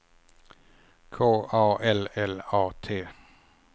K A L L A T